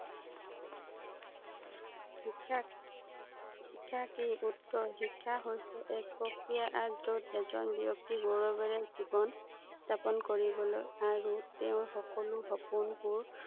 শিক্ষা কি? শিক্ষা কি? উওৰ, শিক্ষা হৈছে এক প্ৰক্ৰিয়া আৰু যত এজন ব্যক্তিয়ে গৌৰৱেৰে জীৱন যাপন কৰিৱলৈ আৰু তেওঁৰ সকলো সপোনবোৰ